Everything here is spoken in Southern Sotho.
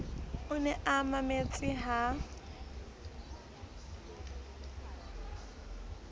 o ne a mametse ha